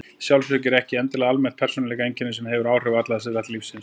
Sjálfsöryggi er ekki endilega almennt persónueinkenni sem hefur áhrif á alla þætti lífsins.